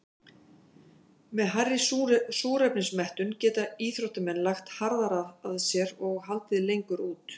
Með hærri súrefnismettun geta íþróttamenn lagt harðar að sér og haldið lengur út.